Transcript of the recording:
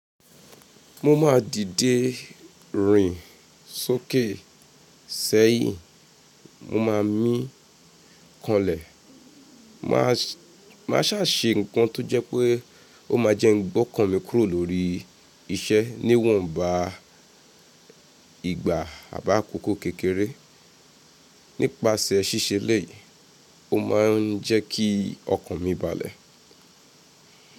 Mo máa dìde rìn sókè sẹ́yìn mo ma mí kanlẹ̀. Máa, máa sà se nǹkan tó jẹ́ pé ó máa jẹ n gbọ́kan mi kúrò lórí iṣẹ́ níwọ̀nba ìgbà àbi akoko kékeré. Nípasẹ̀ ṣíṣe eleyii, ó maa ń jẹ́ kí ọkàn mi balẹ̀.